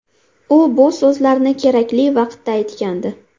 U bu so‘zlarni kerakli vaqtda aytgandi.